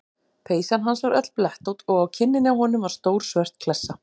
Peysan hans var öll blettótt og á kinninni á honum var stór svört klessa.